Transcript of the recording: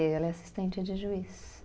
Ela é assistente de juiz.